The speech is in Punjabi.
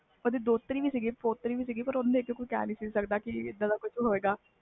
ਓਹਦੇ ਦੋਹਤਰੇ ਪਹੁਤਰੇ ਵੀ ਸੀ ਓਹਨਾ ਨੂੰ ਕੋਈ ਕਹਿ ਨਹੀਂ ਸਕਦਾ ਸੀ ਕਿ